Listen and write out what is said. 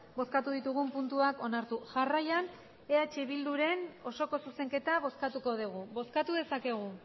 bozkatu ditugun puntuak onartu jarraian eh bilduren osoko zuzenketa bozkatuko dugu bozkatu dezakegu